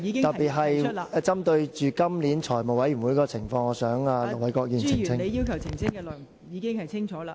特別是針對今年財務委員會的情況，我想請盧偉國議員作出澄清。